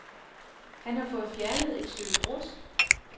Han har fået fjernet et stykke brusk.